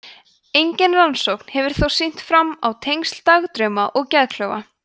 engin rannsókn hefur þó sýnt fram á tengsl dagdrauma og geðklofa